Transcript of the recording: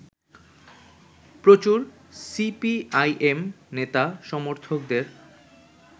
প্রচুর সিপিআইএম নেতা-সমর্থকদের